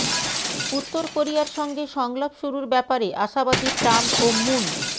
উত্তর কোরিয়ার সঙ্গে সংলাপ শুরুর ব্যাপারে আশাবাদী ট্রাম্প ও মুন